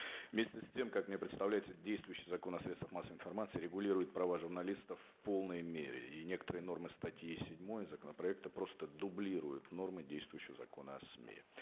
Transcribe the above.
вместе с тем как мне представляется действующий закон о средствах массовой информации регулирует права журналистов в полной мере и некоторые нормы статьи седьмой законопроекта просто дублируют нормы действующего закона о сми